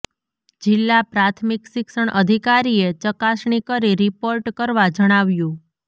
જિલ્લા પ્રાથમિક શિક્ષણ અધિકારીએ ચકાસણી કરી રિપોર્ટ કરવા જણાવ્યું